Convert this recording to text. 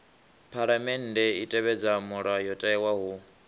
phaḽamennde i tevhedza mulayotewa hu